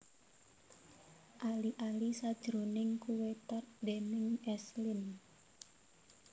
Ali ali sajroning kuwé tart déning S Lin